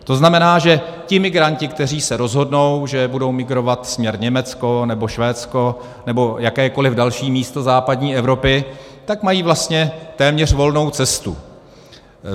To znamená, že ti migranti, kteří se rozhodnou, že budou migrovat směr Německo nebo Švédsko nebo jakékoliv další místo západní Evropy, tak mají vlastně téměř volnou cestu.